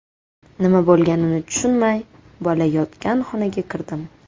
Nima bo‘lganini tushunmay, bola yotgan xonaga kirdim.